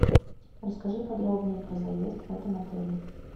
расскажи подробнее про заезд в этом отеле